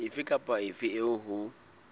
efe kapa efe eo ho